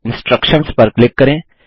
instructions पर click करें